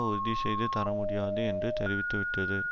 உறுதிசெய்து தரமுடியாது என்று தெரிவித்துவிட்டது